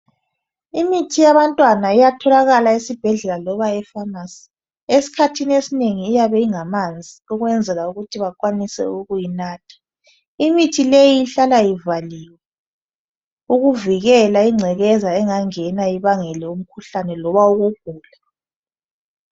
Imithi yabantwana iyatholakala esibhedlela loba efamasi. isikhathi esinengi imithi le iyabe ingamanzi ukwenzela ukuthi bakwanise ukuyinatha. Imithi le ihlala ivaliwe ukuvikela ingcekeza engangena ibangele umkhuhlane loba ukugula.